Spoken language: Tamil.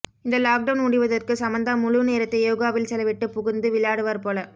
இந்த லாக்டவுன் முடிவதற்கு சமந்தா முழு நேரத்தை யோகாவில் செலவிட்டு புகுந்து விளையாடுவர் போல்